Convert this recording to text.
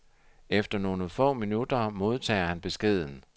Efter nogle få minutter modtager han beskeden.